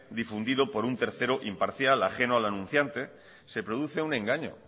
difundido por un tercero imparcial ajeno al anunciante se produce un engaño